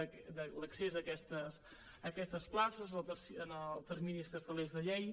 de l’accés a aquestes places en els terminis que estableix la llei